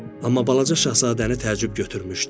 Amma balaca şahzadəni təəccüb götürmüşdü.